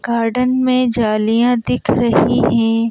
Garden में जालियां दिख रही हैं ।